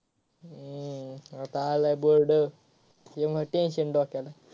हम्म आत्ता आलाय board त्यामुळ tension डोक्याला.